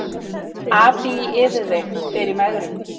Api í yfirvigt fer í megrun